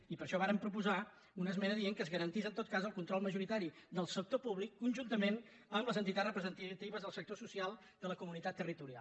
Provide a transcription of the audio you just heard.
i per això vàrem proposar una esmena que digués que es garantís en tot cas el control majoritari del sector públic conjuntament amb les entitats representatives del sector social de la comunitat territorial